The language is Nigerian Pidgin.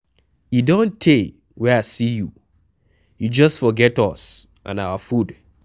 E don tey wey I see you, you just forget us and our food.